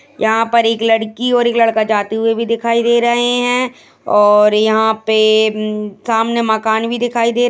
यहाँ पर एक लड़की और एक लड़का जाते हुए भी दिखाई दे रहे हैं और यहाँ पे सामने मकान भी दिखाई दे --